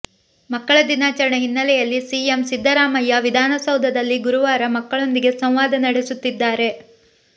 ಮಕ್ಕಳ ದಿನಾಚರಣೆ ಹಿನ್ನಲೆಯಲ್ಲಿ ಸಿಎಂ ಸಿದ್ದರಾಮಯ್ಯ ವಿಧಾನಸೌಧದಲ್ಲಿ ಗುರುವಾರ ಮಕ್ಕಳೊಂದಿಗೆ ಸಂವಾದ ನಡೆಸುತ್ತಿದ್ದಾರೆ